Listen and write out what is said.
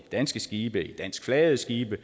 danske skibe danskflagede skibe